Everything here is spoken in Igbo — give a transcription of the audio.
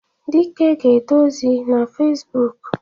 Dike ga-ede ozi na Fezbụk.